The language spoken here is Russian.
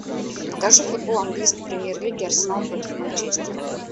покажи футбол английской премьер лиги арсенал против манчестера